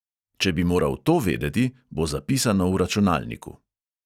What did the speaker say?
Če bi moral to vedeti, bo zapisano v računalniku.